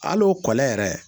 Al'o kɔlen yɛrɛ